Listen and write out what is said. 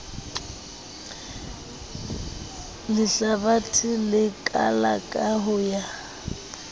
lehlabathe le kalaka ho ya